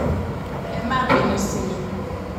ẹ má bínú sí mi